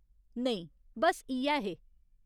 नेईं, बस्स इ'यै हे।